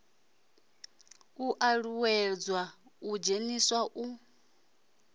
u uuwedzwa u dzheniswa u